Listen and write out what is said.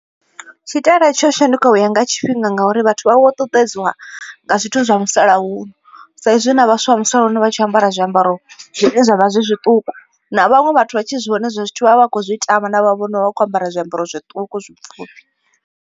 Tshitaela tsho shanduka u ya nga tshifhinga ngauri vhathu vha vho ṱuṱuwedziwa nga zwithu zwa musalauno. Sa izwi na vhaswa vha musalauno vha tshi ambara zwiambaro zwine zwavha zwi zwiṱuku, na vhaṅwe vhathu vha tshi zwi vhona hezwiḽa zwithu vhavha vha khou zwi tama navho vhono vha vha kho ambara zwiambaro zwiṱuku zwipfufhi.